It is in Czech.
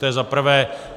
To je za prvé.